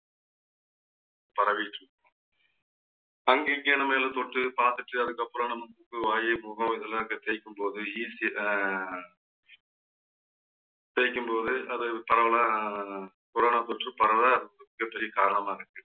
அங்க இங்க நாமா ஏதோ தொட்டு பாத்துட்டு அதுக்கப்புறம் நம்ம மூக்கு வாயி முகம் இதெல்லாம் தேய்க்கும் போது அஹ் தேய்க்கும்போது அது பரவலா corana தொற்று பரவ மிகப்பெரிய காரணமா இருக்கு